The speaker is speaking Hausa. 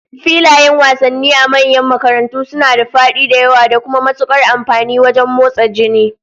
Filayen wasannin a manyan makarantu suna da fadi da yawa, da kuma matukar amfani wajen motsa jini